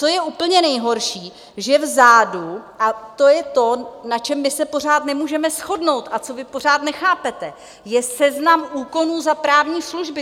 Co je úplně nejhorší, že vzadu - a to je to, na čem my se pořád nemůžeme shodnout a co vy pořád nechápete - je seznam úkonů za právní služby.